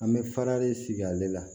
An bɛ fara de sigi ale la